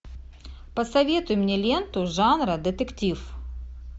посоветуй мне ленту жанра детектив